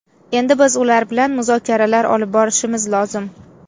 Endi biz ular bilan muzokaralar olib borishimiz lozim.